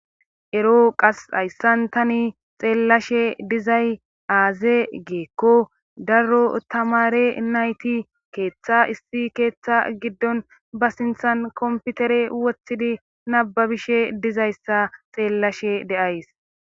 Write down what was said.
ero qas hayssan tani xeellashe dizay aaze geekko daro tamare nayti keeththa issi keeththa giddon ba sinthan komputere wothidi nababishe dizayssa xeellashe deays